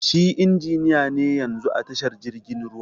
Shi injiniya ne yanzun a tashar jirgin ruwa.